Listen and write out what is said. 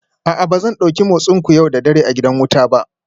A'a ba zan dauki motsinku yau da dare a gidan wuta ba